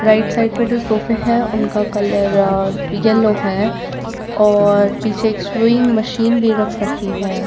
Right side पर जो sofa है उनका कलर येलो है और पीछे सेविंग मशीन भी रख सकती है।